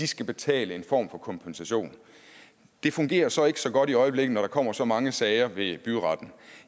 skal betale en form for kompensation det fungerer så ikke så godt i øjeblikket når der kommer så mange sager ved byretten